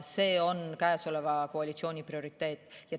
See on käesoleva koalitsiooni prioriteet.